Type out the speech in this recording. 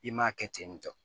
I m'a kɛ ten tɔ